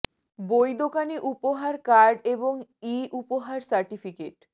বই দোকান ই উপহার কার্ড এবং ই উপহার সার্টিফিকেট